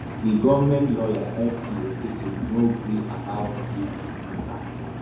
di goment lawyer f c okeke no gree to about di mata